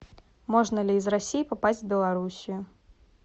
можно ли из россии попасть в белоруссию